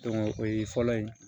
o ye fɔlɔ ye